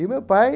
E o meu pai...